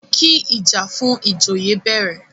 kí ìjà fún ìjòyè bẹ̀rẹ̀!